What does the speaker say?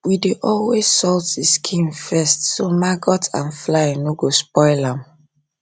we dey always salt the skin first so maggot and fly no go spoil am